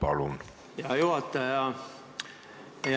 Aitäh, hea juhataja!